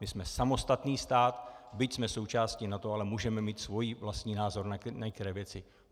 My jsme samostatný stát, byť jsme součástí NATO, ale můžeme mít svůj vlastní názor na některé věci.